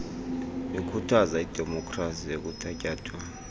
ikhuthaza idemopkhrasi ekuthatyathwa